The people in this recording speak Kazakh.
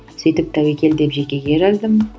сөйтіп тәуекел деп жекеге жаздым